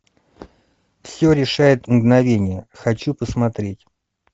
все решает мгновение хочу посмотреть